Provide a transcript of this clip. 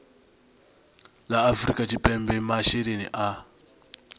la afrika tshipembe masheleni a